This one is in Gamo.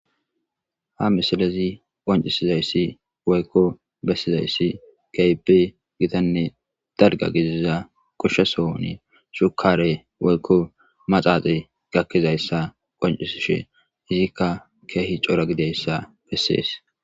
Ha misilezi qonccissizayssi woykko bessizayssi keehippe githanne dalgga gidiza goshsha sohoni shekkaaree woykko maxaaxee gakkizayssa qonccissishee hegeekka keehi cora gidayssa bessees.